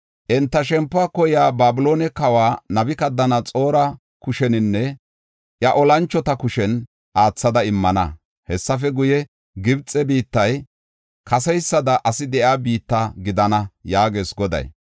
Enta shempuwa koyiya Babiloone kawa Nabukadanaxoora kusheninne iya olanchota kushen aathada immana. Hessafe guye, Gibxe biittay kaseysada asi de7iya biitta gidana” yaagees Goday.